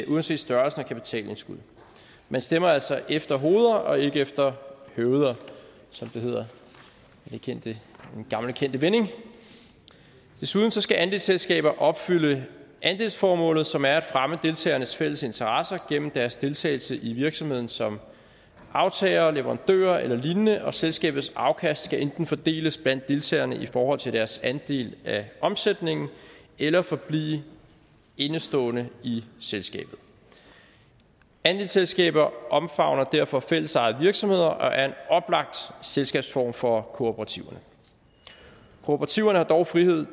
uanset størrelsen af kapitalindskud man stemmer altså efter hoveder og ikke efter høveder som det hedder i den gamle kendte vending desuden skal andelsselskaber opfylde andelsformålet som er at fremme deltagernes fælles interesser gennem deres deltagelse i virksomheden som aftagere og leverandører eller lignende og selskabets afkast skal enten fordeles blandt deltagerne i forhold til deres andel af omsætningen eller forblive indestående i selskabet andelsselskaber omfavner derfor fællesejede virksomheder og er en oplagt selskabsform for kooperativerne kooperativerne har dog frihed